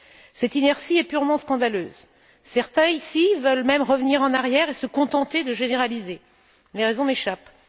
Cette inertie est purement scandaleuse. Certains, ici, veulent même revenir en arrière et se contenter de généraliser. Les raisons m'échappent.